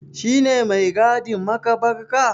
Shi ne mai gadin maƙabarka?